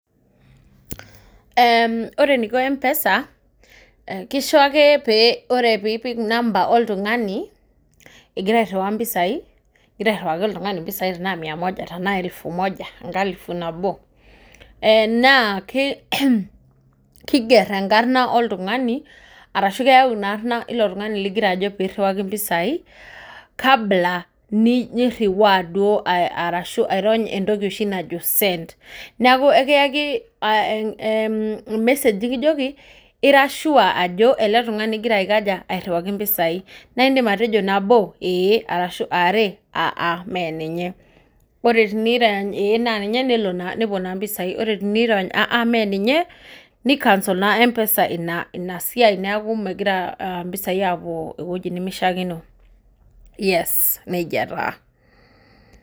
Ore eniko empesa, kisho ake ore pee ipik number oltungani, ingira airiwaa mpisai ingira airiwaki oltungani mpisai tenaa mia moja tena elfu moja tena enkalifu nabo naa kiger enkarna oltungani orashu keyau ina arna ilo tungani linkira ajo pee iriwaki mpisai kabla niriwaa airony oshi entoki najo send. neeku ekiyaki ormesej nikijoki ira sure ajo ele tungani ingira airiwaki mpisai naa indim atejio nabo eeh orashu are aa mee ninye ,ore tenirony nabo ee nepuo mpisai ore tenirony aa mee ninye nicancel naa empesa ina siai neeku negira mpisai apuo eweji nemishaakino.